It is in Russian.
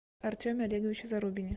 артеме олеговиче зарубине